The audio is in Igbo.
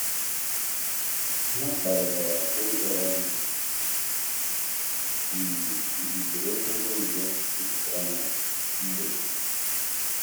Ha kparịtara ụzọ njem iji zere okporo ụzọ jupụtara na mgbede.